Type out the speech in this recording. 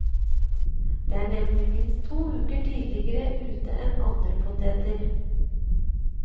De er nemlig minst to uker tidligere ute enn andre poteter.